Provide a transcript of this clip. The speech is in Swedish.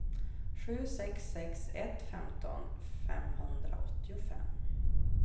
sju sex sex ett femton femhundraåttiofem